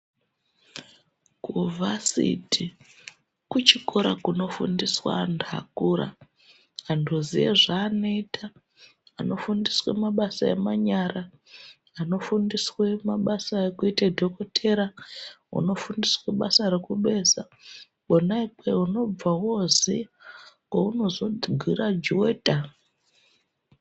Kuvhasiti kuchikora kunofundiswa anthu akura anthu oziya zvaanoita, anofundiswa mabasa emanyara, anofundiswe mabasa ekuite dhokotera, unofundiswa basa rekubeza kwona ikweyo unobva wooziya kwounozo girajuweta.